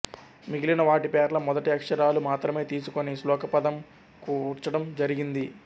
మిగిలిన వాటి పేర్ల మొదటి అక్షరాలు మాత్రమే తీసుకుని శ్లోకపాదం కూర్చటం జరిగింది